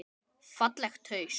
Fallegt haust.